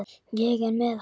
Ég er með hann.